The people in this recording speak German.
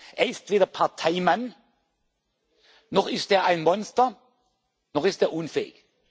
aufbauen. Er ist weder Parteimann, noch ist er ein Monster, noch ist